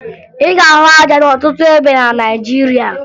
Ị ga-ahụ aja n'ọtụtụ ebe na Naịjirịa